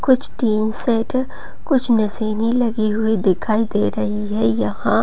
कुछ tin shed कुछ मशीने लगी हुई दे रही है यहां।